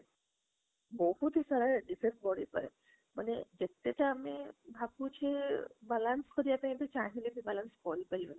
ବହୁତ ହିଁ ସାରା effect ପଡି ପରେ ମାନେ ଯେତେଟା ଆମେ ଭାବୁଛେ balance କରିବା ପାଇଁ ଏବେ ଚାଇଲେ ବି balance କରି ପାରିବାନି